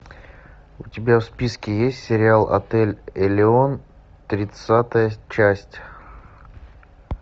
у тебя в списке есть сериал отель элеон тридцатая часть